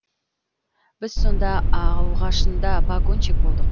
біз сонда алғашында пагонщик болдық